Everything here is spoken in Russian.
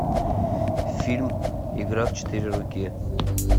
фильм игра в четыре руки